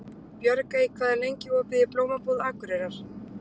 Björgey, hvað er lengi opið í Blómabúð Akureyrar?